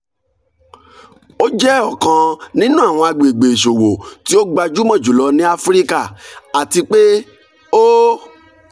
o jẹ ọkan ninu awọn agbegbe iṣowo ti o gbajumo julọ ni afirika ati pe o